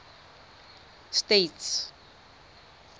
states